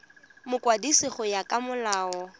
mokwadisi go ya ka molao